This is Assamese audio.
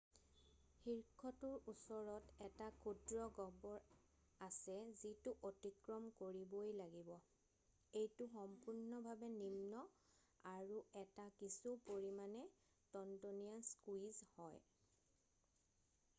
শীৰ্ষটোৰ ওচৰত এটা ক্ষুদ্ৰ গহ্বৰ আছে যিটো অতিক্ৰম কৰিবই লাগিব এইটো সম্পূৰ্ণভাৱে নিম্ন আৰু এটা কিছু পৰিমাণে টনটনীয়া স্কুইজ হয়৷